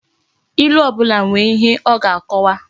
Ilu obula nwere ihe o ga-akowa